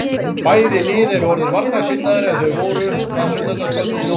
Bæði lið eru orðin varnarsinnaðri en þau voru það sunnudagskvöld í nóvembermánuði.